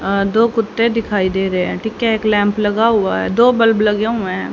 अह दो कुत्ते दिखाई दे रहे हैं ठीक है एक लैंप लगा हुआ है दो बल्ब लगे हुए हैं।